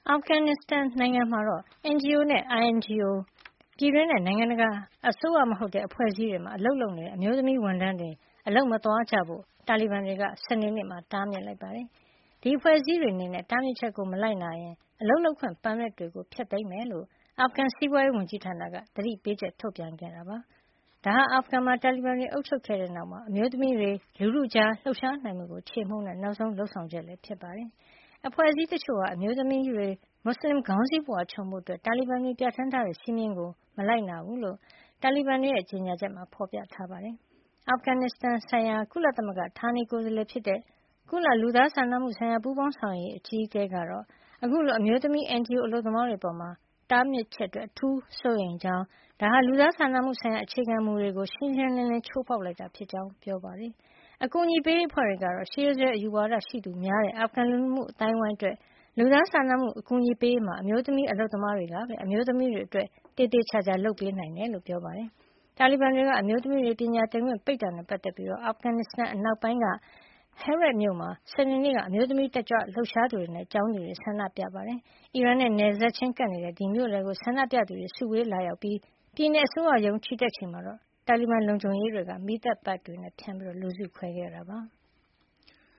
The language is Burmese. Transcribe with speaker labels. Speaker 1: အာဖဂန်နစ်စတန်နိုင်ငံက NGO နဲ့ INGO- ပြည်တွင်းနဲ့ နိုင်ငံတကာ အစိုးရမဟုတ်တဲ့ အဖွဲ့အစည်းတွေမှာ အလုပ်လုပ်နေတဲ့ အမျိုးသမီးဝန်ထမ်းတွေ အလုပ်မသွားကြဖို့ တာလီဘန်တွေက စနေနေ့က တားမြစ်လိုက်ပါတယ်။ ဒီအဖွဲ့အစည်းတွေအနေနဲ့ တားမြစ်ချက်ကို မလိုက်နာရင် အလုပ်လုပ်ခွင့် ပါမစ်တွေကို ဖျက်သိမ်းမှာ ဖြစ်ကြောင်း အာဖဂန်စီးပွါးရေးဝန်ကြီးဌာနက သတိပေးချက် ထုတ်ပြန်ခဲ့တာ ဖြစ်ပါတယ်။ ဒါဟာ အာဖဂန်မှာ တာလီဘန်တွေ အုပ်ချုပ်ခဲ့တဲ့ နောက် အမျိုးသမီးတွေ လူထုကြားလှုပ်ရှားနိုင်မှုကို ချေမှုန်းတဲ့ နောက်ဆုံး လုပ်ဆောင်ချက် ဖြစ်ပါတယ်။ အဖွဲ့အစည်း တချို့ဟာ အမျိုးသမီးတွေ မွတ်စလင်ခေါင်းစည်း ပုဝါ ခြုံဖို့ တာလီဘန်တွေပြဌာန်းထားတဲ့ စည်းမျဉ်းကို လိုက်နာမှု မရှိဘူးလို့ တာလီဘန်တွေရဲ့ ကြေညာချက်မှာ ဖေါ်ပြထားပါတယ်။ အာဖဂန်နစ်စတန်ဆိုင်ရာ ကုလသမဂ္ဂ ဌာနေကိုယ်စားလှယ်ဖြစ်တဲ့ ကုလ လူသားစာနာမှုဆိုင်ရာ ပူးပေါင်းဆောင်ရွက်ရေး အကြီးအကဲ Ramiz Alakbarov ကတော့ အခုလို အမျိုးသမီး NGO အလုပ်သမားတွေအပေါ် တားမြစ်ချက် အတွက် အထူးစိုးရိမ်ကြောင်းနဲ့ ဒါဟာ လူသားစာနာမှု ဆိုင်ရာ အခြေခံမူတွေကို ရှင်းရှင်းလင်းလင်း ချိုးဖေါက်လိုက်တာ ဖြစ်ကြောင်း ပြောပါတယ်။ အကူညီပေးရေးအဖွဲ့တွေကတော့ ရှေးရိုးစွဲအယူရှိသူများတဲ့ အာဖဂန်လူမှုအသိုင်းဝိုင်းအတွက် လူသားစာနာမှု အကူညီပေးရေးမှာ အမျိုးသမီး အလုပ်သမားတွေကပဲ အမျိုးသမီးတွေအတွက် သေသေချာချာ လုပ်ပေးနိုင်တယ်လို့ ပြောပါတယ်။ တာလီဘန်တွေက အမျိုးသမီးတွေ ပညာသင့်ခွင့်ပိတ်ပင်တာနဲ့ ပတ်သက်ပြီး အာဖဂန်နစ္စတန် အနောက်ပိုင်းက Herat မြို့မှာ စနေနေ့က အမျိုးသမီး တက်ကြွလှုပ်ရှားသူတွေနဲ့ ကျောင်းသူတွေဆန္ဒပြခဲ့ကြပါတယ်။ အီရန်နဲ့ နယ်စပ်ချင်းကပ်နေတဲ့ အဲဒီမြို့လည်ကို ဆန္ဒပြသူတွေ စုဝေးလာရောက်ကြပြီး ပြည်နယ် အစိုးရရုံးကို ချီတက်ကြချိန်မှာတော့ တာလီဘန်လုံခြုံရေးတွေက မီးသတ်ပိုက်တွေနဲ့ လူစုခွဲခဲ့တာပါ။